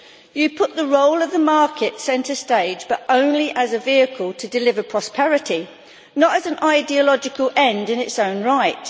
You put the role of the market centre stage but only as a vehicle to deliver prosperity, not as an ideological end in its own right.